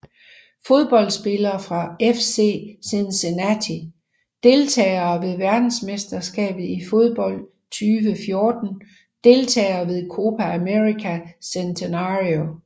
Fodboldspillere fra FC Cincinnati Deltagere ved verdensmesterskabet i fodbold 2014 Deltagere ved Copa América Centenario